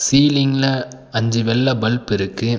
சீலிங்ல அஞ்சு வெள்ள பல்ப் இருக்கு.